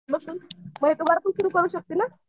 बसून करू शकते ना.